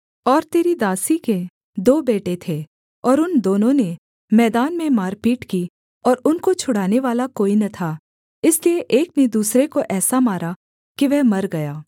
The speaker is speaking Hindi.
और तेरी दासी के दो बेटे थे और उन दोनों ने मैदान में मारपीट की और उनको छुड़ानेवाला कोई न था इसलिए एक ने दूसरे को ऐसा मारा कि वह मर गया